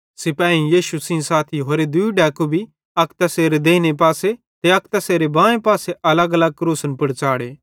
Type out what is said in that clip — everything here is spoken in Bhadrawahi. सिपाहेईं यीशु सेइं साथी होरे दूई डैकू भी अक तैसेरे देइने पासे ते अक तैसेरे बाएं पासे अलगअलग क्रूसन पुड़ च़ाढ़े